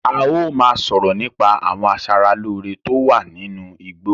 Áà ó máa sọ̀rọ̀ nípa àwọn asára lòo rè tó wà nínú igbó.